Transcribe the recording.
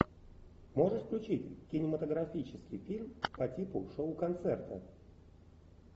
можешь включить кинематографический фильм по типу шоу концерта